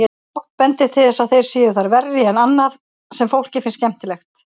Fátt bendir til þess að þeir séu þar verri en annað sem fólki finnst skemmtilegt.